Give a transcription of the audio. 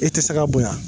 I tɛ se ka bonya